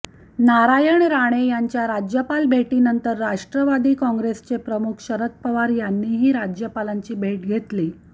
नारायण राणे यांच्या राज्यपाल भेटीनंतर राष्ट्रवादी काँग्रेसचे प्रमुख शरद पवार यांनीही राज्यपालांची भेट घेतली